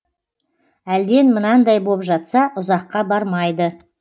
әлден мынандай боп жатса ұзаққа бармайды